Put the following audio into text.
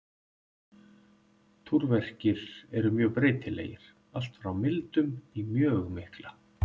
Túrverkir eru mjög breytilegir, allt frá mildum í mjög mikla.